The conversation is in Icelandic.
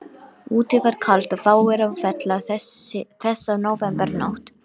Úti var kalt og fáir á ferli þessa nóvembernótt.